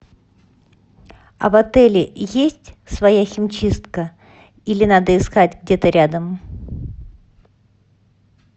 а в отеле есть своя химчистка или надо искать где то рядом